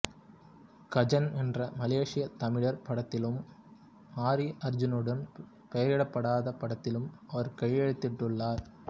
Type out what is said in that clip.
கஜென் என்ற மலேசிய தமிழ் படத்திலும் ஆரி அர்ஜுனனுடன் பெயரிடப்படாத படத்திலும் அவர் கையெழுத்திட்டுள்ளார்